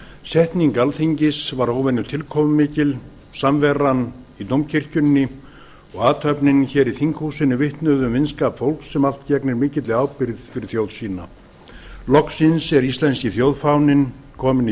setning alþingis var óvenjutilkomumikil samveran í dómkirkjunni og athöfnin hér í þinghúsinu vitnuðu um vinskap fólks sem allt gegnir mikilli ábyrgð fyrir þjóð sína loksins er íslenski þjóðfáninn kominn í